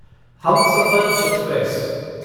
Humsafar express